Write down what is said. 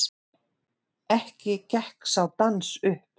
Ekki gekk sá dans upp.